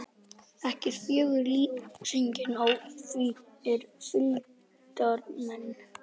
Ekki er fögur lýsingin á því er fylgdarmenn